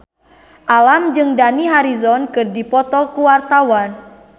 Alam jeung Dani Harrison keur dipoto ku wartawan